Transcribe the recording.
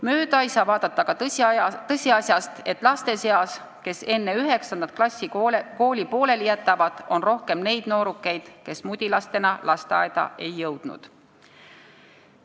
Mööda ei saa vaadata ka tõsiasjast, et laste seas, kes enne 9. klassi kooli pooleli jätavad, on rohkem neid, kes mudilastena lasteaeda ei jõudnud.